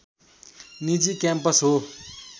निजी क्याम्पस हो